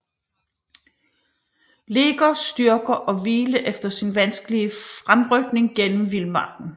Legers styrker og hvile efter sin vanskelige fremrykning gennem vildmarken